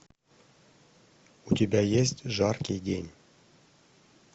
у тебя есть жаркий день